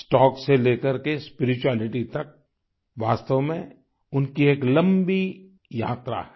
stock से लेकर के स्पिरिचुअलिटी तक वास्तव में उनकी एक लंबी यात्रा है